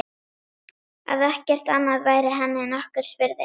Að ekkert annað væri henni nokkurs virði.